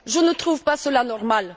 Je ne trouve pas cela normal.